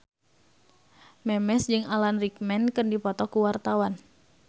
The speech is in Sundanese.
Memes jeung Alan Rickman keur dipoto ku wartawan